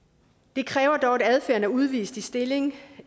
det kræver dog at adfærden er udvist i stilling